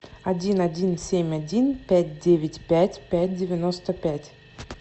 один один семь один пять девять пять пять девяносто пять